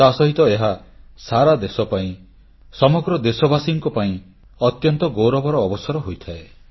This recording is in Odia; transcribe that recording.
ତାସହିତ ଏହା ସାରା ଦେଶ ପାଇଁ ସମଗ୍ର ଦେଶବାସୀଙ୍କ ପାଇଁ ଅତ୍ୟନ୍ତ ଗୌରବର ଅବସର ହୋଇଥାଏ